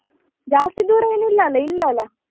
ಜಾಸ್ತಿ ದೂರ ಏನ್ ಇಲ್ಲ ಅಲ್ಲ ಇಲ್ಲೇ ಅಲ್ಲಾ.